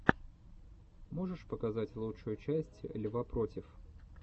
можешь показать лучшую часть льва против